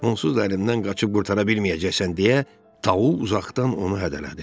Onsuz da əlimdən qaçıb qurtara bilməyəcəksən deyə, Tau uzaqdan onu hədələdi.